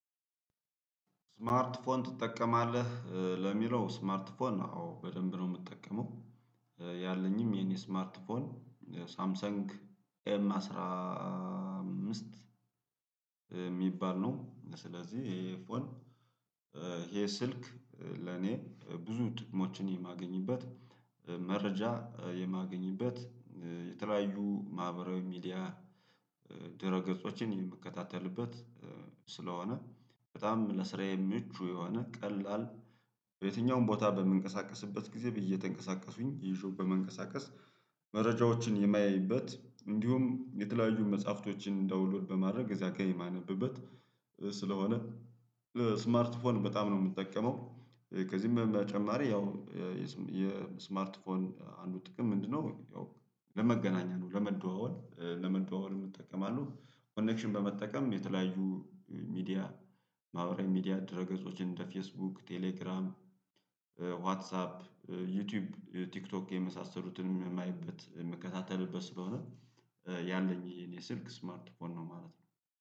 ስማርት ፎን ትጠቀማለህ ለሚለው ስማርት ፎን አወ በደንብ ነው ምጠቀመው ያለኝም የኔ ስማርት ፎን ሳምሰንግ ኤም አስራ አምስት ሚባል ነው። ስለዚህ እሄ ፎን። እሄ ስልክ ለኔ ብዙ ጥቅሞችን የማገኝበት መረጃ የማገኝበት የተለያዩ ማህበራዊ ሚዲያ ድረ ገጾችን የምከታተልበት ስለሆነ በጣም ለስራዬ ምቹ የሆነ ቀላል በየትኛውም ቦታ በምንቀሳቀስበት ግዜ እተንቀሳቀሱኝ ይዤው በመንቀሳቀስ መረጃዎችን የማያይበት እንዲሁም የተለያዩ መጽሐፍቶችን ዳውሎድ በማረግ እዛጋ የማነብበት ስለሆነ። ስማርት ፎን በጣም ነው ምጠቀመው። ከዚህም በጨማሪ ያው የስማርት ፎን አንዱ ጥቅም ምንድነው? ያው ለመገናኛ ነው ለመደዋወል ለመደዋወል እምጠቀማለሁ ኮኔክሽን በመጠቀም የተለያዩ ሚዲያ ማውራዊ ሚዲያ ድረ ገጾችን እንደ ፌስቡክ ቴሌግራም። ዋትሳፕ ዩቲዩብ ቲክቶክ የመሳሰሉትን የማየበት ምከታተልበት ስለሆነ። ያለኝ የኔ ስልክ ስማርት ፎን ነው ማለት ነው